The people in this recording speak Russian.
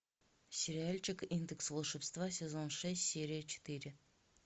сериальчик индекс волшебства сезон шесть серия четыре